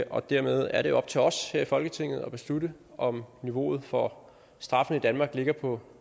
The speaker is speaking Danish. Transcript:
og dermed er det op til os her i folketinget at beslutte om niveauet for straffene i danmark ligger på